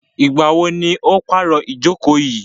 Ìgbà wo ni o pàro ìjókò yìí?